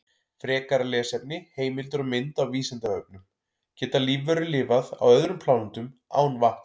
Frekara lesefni, heimildir og mynd á Vísindavefnum: Geta lífverur lifað á öðrum plánetum án vatns?